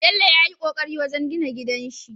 Bello yayi ƙoƙari wajan gina gidanshi